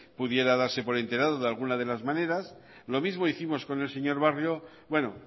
pudiera darse por enterado de alguna de las maneras lo mismo hicimos con el señor barrio bueno